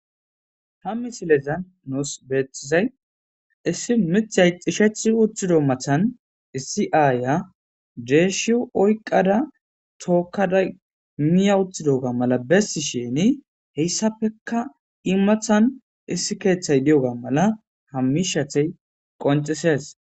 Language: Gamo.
Ha misilezan nusi beetizay issi miththay xishethi uthiro mathan issi aya deshiyo oyiqada tokada Miya uthidoga mala besishini heysapeka iyi mathani issi keeththay diyoga mala ha mishathe konc'ises.